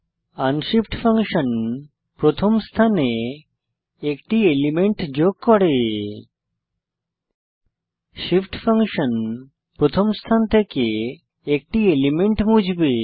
unshift function প্রথম স্থানে একটি এলিমেন্ট যোগ করে shift ফাংশন প্রথম স্থান থেকে একটি এলিমেন্ট মুছবে